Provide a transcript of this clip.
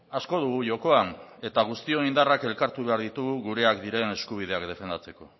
asko dugu jokoan eta guztion indarrak elkartu behar ditugu gureak diren eskubideak defendatzeko